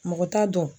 Mɔgɔ t'a dɔn